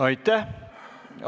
Aitäh!